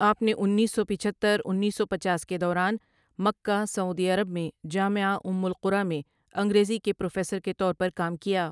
آپ نے انیس سو پچہتر انیس سو پچاس کے دوران مکہ ، سعودی عرب میں جامعہ ام القری میں انگریزی کے پروفیسر کے طور پر کام کیا ۔